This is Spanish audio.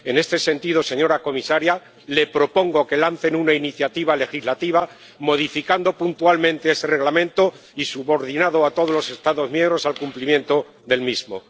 En este sentido, señora comisaria, le propongo que lancen una iniciativa legislativa modificando puntualmente ese Reglamento y subordinando a todos los Estados miembros al cumplimiento del mismo.